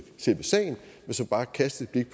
skal bare kastes et